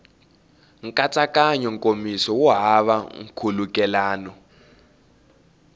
nkatsakanyo nkomiso wu hava nkhulukelano